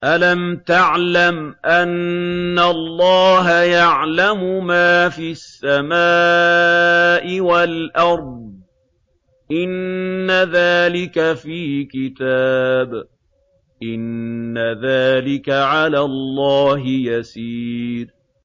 أَلَمْ تَعْلَمْ أَنَّ اللَّهَ يَعْلَمُ مَا فِي السَّمَاءِ وَالْأَرْضِ ۗ إِنَّ ذَٰلِكَ فِي كِتَابٍ ۚ إِنَّ ذَٰلِكَ عَلَى اللَّهِ يَسِيرٌ